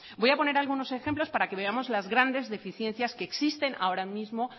voy a poner algunos ejemplos para que veamos las grandes deficiencias que existen ahora mismo